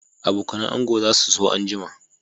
Abokanan ango za su so anjima